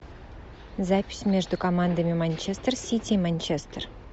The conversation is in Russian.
запись между командами манчестер сити и манчестер